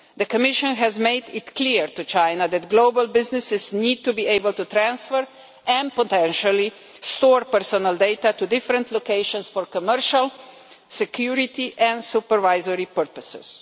The Commission has made it clear to China that global businesses need to be able to transfer, and potentially to store, personal data to different locations for commercial, security and supervisory purposes.